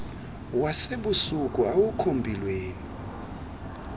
wasebusuku awukho mpilweni